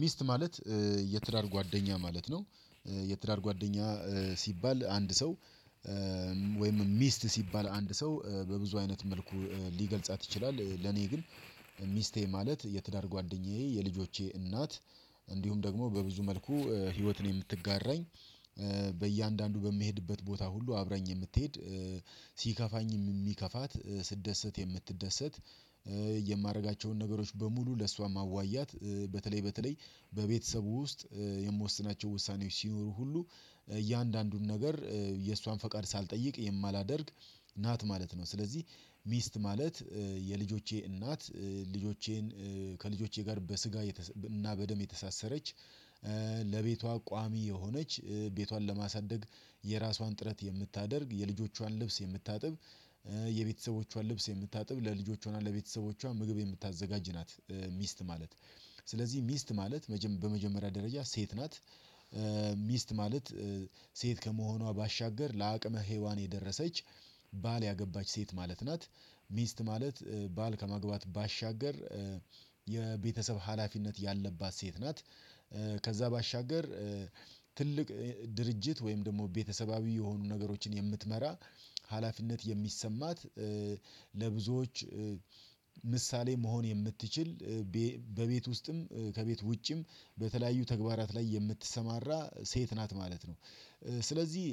ሚስት ማለት የትዳር ጓደኛ ማለት ነው የትዳር ጓደኛ ሲባል አንድ ሰው ወይም ሚስት ሲባል አንድ ሰው በብዙ አይነት መልኩ ሊገልጻት ይችላል ለኔ ግን ሚስቴ ማለት የትዳር ጓደኛዬ የልጆቼ እናት እንዲሁም ደግሞ በብዙ መልኩ ህይወትን የምትጋራኝ በእያንዳንዱ በምሄድበት ቦታ ሁሉ አብራኝ የምትሄድ ሲከፋኝም የሚከፋት ስደሰት የምትደሰት የማደርጋቸውን ነገሮች በሙሉ ለእሷ ማዋያት በተለይ በተለይ በቤተሰቡ ውስጥ የምወስናቸው ውሳኔዎች ሲኖሩ ሁሉ እያንዳንዱን ነገር የእሷን ፈቃድ ሳልጠይቅ የማላደርግ ናት ማለት ነው። ስለዚህ ሚስት ማለት የልጆቼ እናት ልጆቼን ከልጆቼ ጋር በስጋ እና በደም የተሳሰረች ለቤቷ ቋሚ የሆነች ቤቷን ለማሳደግ የራሷን ጥረት የምታደርግ የልጆቿን ልብስ የምታጥብ የቤተሰቦቿን ልብስ የምታጥብ ለልጆቿና ለቤተሰቦቿ ምግብ የምታዘጋጅ ናት ሚስት ማለት። ስለዚህ ሚስት ማለት በመጀመሪያ ደረጃ ሴት ናት ሚስት ማለት ሴት ከመሆኗ ባሻገር ለአቅመ ሄዋን የደረሰች ባል ያገባች ሴት ማለት ናት ሚስት ማለት ባል ከማግባት ባሻገር የቤተሰብ ሀላፊነት ያለባት ሴት ናት ከዛ ባሻገር ትልቅ ድርጅት ወይም ደግሞ ቤተሰባዊ የሆኑ ነገሮችን የምትመራ ሀላፊነት የሚሰማት ለብዙዎች ምሳሌ መሆን የምትችል በቤት ውስጥም ከቤት ውጭም በተለያዩ ተግባራት ላይ የምትሰማራ ሴት ናት ማለት ነው ስለዚህ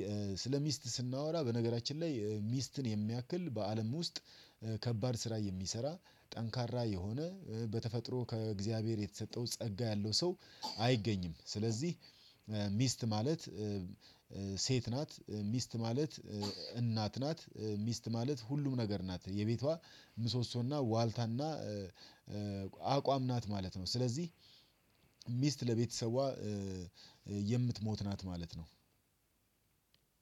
ስለ ሚስት ስናወራ በነገራችን ላይ ሚስትን የሚያክል በአለም ውስጥ ከባድ ስራ የሚሰራ ጠንካራ የሆነ በተፈጥሮ ከእግዚአብሔር የተሰጠው ጸጋ ያለው ሰው አይገኝም። ስለዚህ ሚስት ማለት ሴት ናት ሚስት ማለት እናት ናት፣ ሚስት ማለት ሁሉም ነገር ናት፣ የቤቷ ምሶሶና ዋልታና አቋም ናት ማለት ነው ስለዚህ ሚስት ለቤተሰቧ የምትሞት ናት ማለት ነው